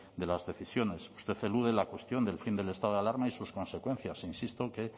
de las decisiones usted elude la cuestión del fin del estado de alarma y sus consecuencias e insisto en que